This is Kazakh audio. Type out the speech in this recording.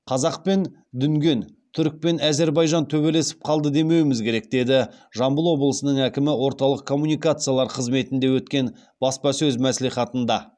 қазақ пен дүнген түрік пен әзербайжан төбелесіп қалды демеуіміз керек деді жамбыл обылысының әкімі орталық коммуникациялар қызметінде өткен баспасөз мәслихатында